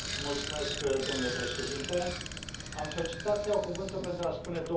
Domnule președinte, am solicitat să iau cuvântul pentru a spune două lucruri.